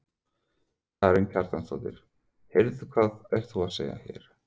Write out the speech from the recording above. Karen Kjartansdóttir: Heyrðu hvað ert þú að gera hér?